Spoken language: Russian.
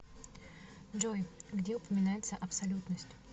джой где упоминается абсолютность